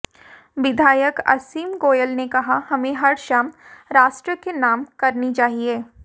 विधायक असीम गोयल ने कहा हमें हर शाम राष्ट्र के नाम करनी चाहिए